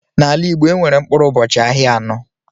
N'ala Igbo, enwere mkpụrụ ụbọchị ahịa anọ.